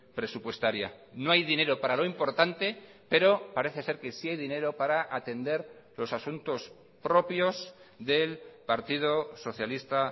presupuestaria no hay dinero para lo importante pero parece ser que sí hay dinero para atender los asuntos propios del partido socialista